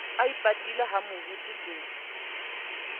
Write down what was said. a ipatile ha moruti ke